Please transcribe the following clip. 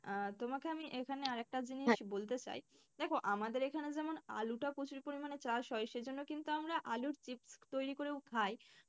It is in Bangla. আহ তোমাকে আমি এখানে আর একটা বলতে চাই দেখো আমাদের এখানে যেমন আলুটা প্রচুর পরিমাণে চাষ হয়। সেইজন্য কিন্তু আমরা আলুর চিপস তৈরি করেও খাই।